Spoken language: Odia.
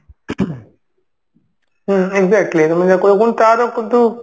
ହୁଁ exactly ତମେ ଯାହା କହିଲ ପୁଣି